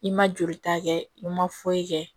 I ma joli ta kɛ i ma foyi kɛ